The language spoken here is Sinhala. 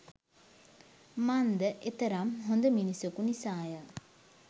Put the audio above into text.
මන්ද එතරම් හොද මිනිසකු නිසාය